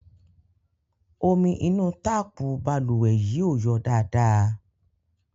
Omi inú táàpù balùwẹ̀ yìí ò yọ dáadáa.